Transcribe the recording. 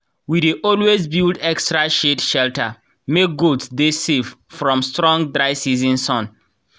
we dey always build extra shade shelter make goats dey safe from strong dry season sun.